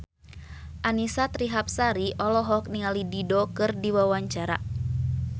Annisa Trihapsari olohok ningali Dido keur diwawancara